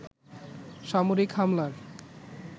সামরিক হামলার